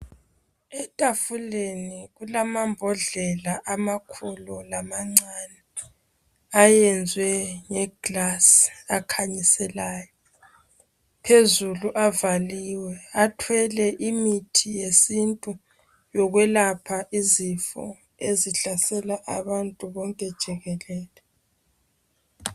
Etafuleni kulamambodlela amakhulu lamancane ayenzwe ngeglass akhanyiselayo. Phezulu avaliwe athwele imithi yesintu yokwelapha izifo ezihlasela abantu bonke jikelele.